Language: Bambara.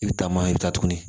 I bɛ taama i bɛ taa tuguni